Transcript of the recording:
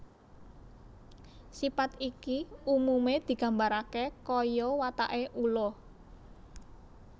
Sipat iki umume digambarake kaya watake ula